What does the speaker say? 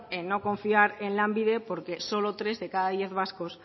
en no confiar en lanbide porque solo tres de cada diez vascos